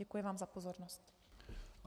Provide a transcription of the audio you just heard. Děkuji vám za pozornost.